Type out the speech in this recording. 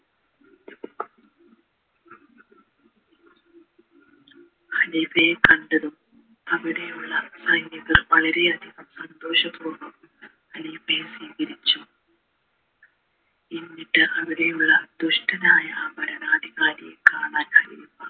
ഖലീഫയെ കണ്ടതും അവിടെ ഉള്ള വളരെയധികം സന്തോഷപൂർവം ഖലീഫയെ സ്വീകരിച്ചു എന്നിട്ട് അവിടെയുള്ള ദുഷ്ടനായ ആ ഭരണാധികാരിയെ കാണാനായി